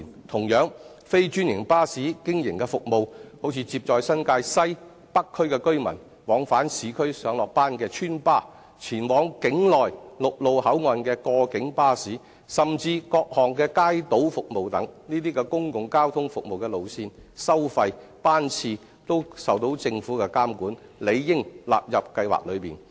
同樣，非專營巴士經營的服務，例如接載新界西及北區居民往返市區上、下班的邨巴、前往境內陸路口岸的過境巴士，甚至各項街渡服務等，這些公共交通服務的路線、收費、班次等均受政府監管，理應納入補貼計劃內。